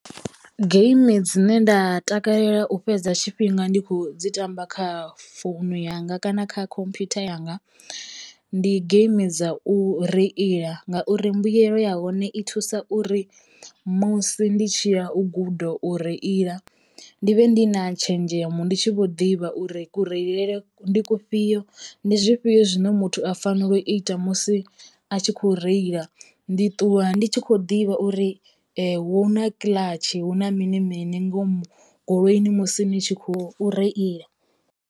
Geimi dzine nda takalela u fhedza tshifhinga ndi kho dzi tamba kha founu yanga kana kha khomphutha yanga, ndi geimi dza u reila ngauri mbuyelo ya hone i thusa uri musi ndi tshi ya u guda u reila ndi vhe ndi na tshenzhemo ndi tshi vho ḓivha uri ku reile ndi kufhio ndi zwifhio zwine muthu a fanela u ita musi a tshi kho reila. Ndi ṱuwa ndi tshi kho ḓivha uri hu na kiḽatshi hu na mini mini ngomu goloini musi ni tshi khou reila.